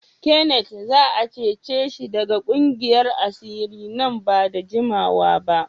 Kenneth za a cece shi daga ƙungiyar asiri nan ba da jimawa ba.